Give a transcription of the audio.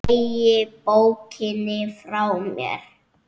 Fleygi bókinni frá mér.